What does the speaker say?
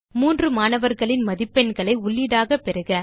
மூன்று மாணவர்களின் மதிப்பெண்களை உள்ளீடாக பெறுக